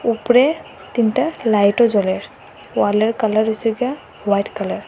উপরে তিনটা লাইটও জ্বলে ওয়ালের কালার হইসে গিয়া হোয়াইট কালার ।